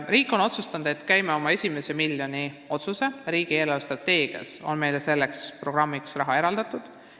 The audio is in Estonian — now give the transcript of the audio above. Riik on otsustanud välja käia oma esimese miljoni ja riigi eelarvestrateegias on meile selleks programmiks raha eraldatud.